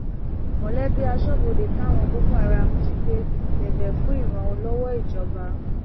mọlẹbí asọbọdẹ táwọn boko haram jí gbé bẹbẹ fún ìrànlọwọ ìjọba